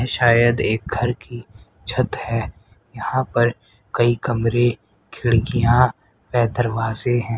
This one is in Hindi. शायद एक घर की छत है यहां पर कई कमरे खिड़कियां वे दरवाजे हैं।